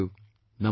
Namaste